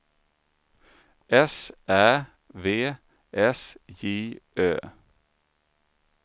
S Ä V S J Ö